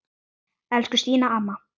Elsku Stína amma.